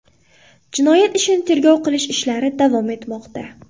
Jinoyat ishini tergov qilish ishlari davom etmoqda.